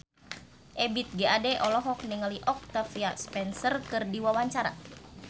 Ebith G. Ade olohok ningali Octavia Spencer keur diwawancara